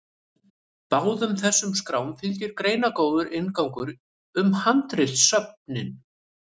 báðum þessum skrám fylgir greinargóður inngangur um handritasöfnin